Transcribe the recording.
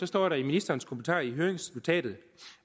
står der i ministerens kommentarer i høringsnotatet